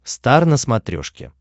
стар на смотрешке